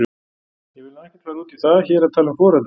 Ég vil nú ekkert fara út í það hér að tala um foreldra.